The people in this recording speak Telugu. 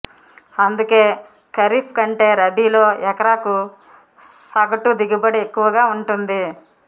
అందుకే ఖరీఫ్ కంటే రబీలో ఎకరాకు సగటు దిగుబడి ఎక్కువగా ఉంటుంది